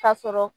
Ka sɔrɔ